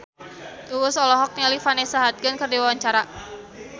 Uus olohok ningali Vanessa Hudgens keur diwawancara